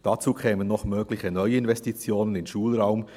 Hinzu kämen noch mögliche Neuinvestitionen in Schulraum.